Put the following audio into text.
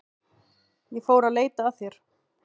Ég fór að leita að þér.